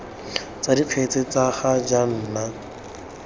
tsa dikgetse tsa ga jaana